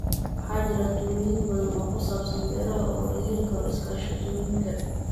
Waxaa jira talooyin badan oo ku saabsan beeraha oo laga heli karo iskaashatooyinka.